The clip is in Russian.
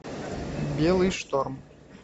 белый шторм